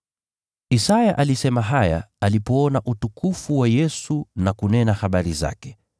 Isaya alisema haya alipoona utukufu wa Yesu na kunena habari zake.